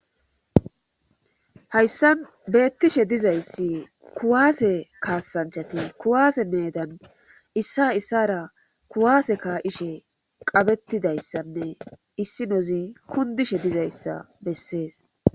Hayssan beettishe dizayssi kuwaase kaasanchati kuwaase meedan issa issara kuwaase ka'ishe qabettidayssanne issinozi kundishe dizayssa bessees..